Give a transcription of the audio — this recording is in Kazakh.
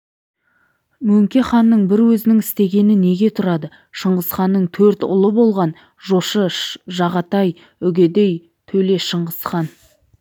мөңке ханның бір өзінің істегені неге тұрады шыңғысханның төрт ұлы болған жошы жағатай үгедей төле шыңғысхан